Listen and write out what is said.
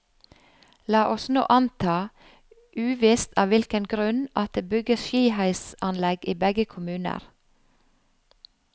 La oss nå anta, uvisst av hvilken grunn, at det bygges skiheisanlegg i begge kommuner.